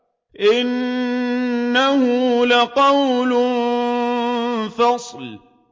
إِنَّهُ لَقَوْلٌ فَصْلٌ